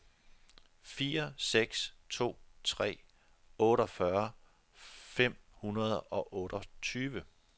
fire seks to tre otteogfyrre fem hundrede og otteogtyve